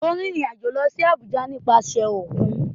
Ó rìnrìn-àjò lọ sí Àbújá nípasẹ̀ òkun?